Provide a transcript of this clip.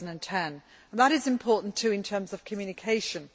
2010. That is important, too, in terms of communication